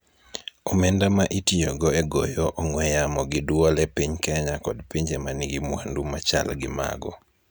omenda ma itiyogo e goyo ong'we yamo gi dwol e piny Kenya kod pinje ma nigi mwandu ma chal gi mago.